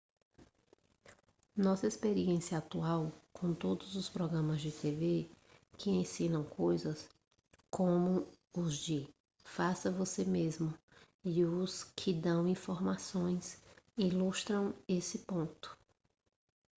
nossa experiência atual com todos os programas de tv que ensinam coisas como os de faça-você-mesmo e os que dão informações ilustram esse ponto